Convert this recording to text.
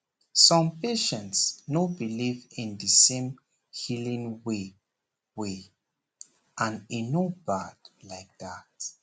some patients no believe in the same healing way way and e no bad like that